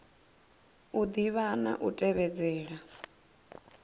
u ḓivha na u tevhedzela